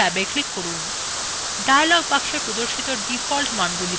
dialog boxwe প্রদর্শিত default মানগুলি রাখুন